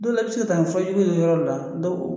Don dɔ la, i be se ka taa ni fɔ jugu ye yɔrɔ dɔ la